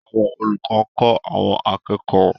Àwọn olùkọ́ ń kọ́ àwọn akẹ́kọ̀ọ́